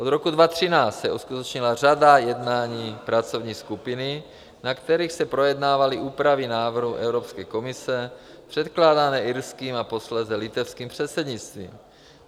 Od roku 2013 se uskutečnila řada jednání pracovní skupiny, na kterých se projednávaly úpravy návrhu Evropské komise předkládané irským a posléze litevským předsednictvím.